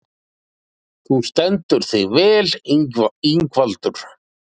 Þú stendur þig vel, Ingvaldur!